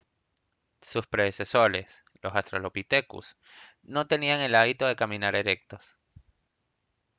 sus predecesores los australopithecus no tenían el hábito de caminar erectos